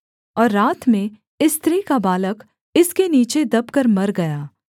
और रात में इस स्त्री का बालक इसके नीचे दबकर मर गया